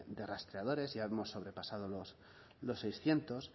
de rastreadores ya hemos sobrepasado los seiscientos